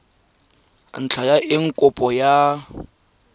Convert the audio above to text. ntlha ya eng kopo ya